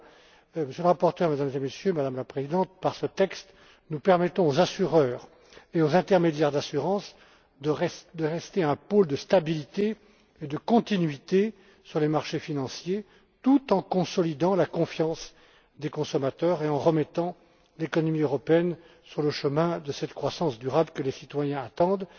Monsieur le rapporteur, Mesdames et Messieurs, Madame la Présidente, par ce texte, nous permettons aux assureurs et aux intermédiaires d'assurance de rester un pôle de stabilité et de continuité sur les marchés financiers, tout en consolidant la confiance des consommateurs et en remettant l'économie européenne sur le chemin de cette croissance durable que les citoyens attendent.